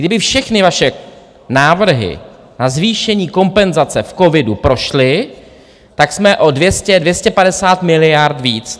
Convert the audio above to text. Kdyby všechny vaše návrhy na zvýšení kompenzace v covidu prošly, tak jsme o 200, 250 miliard víc.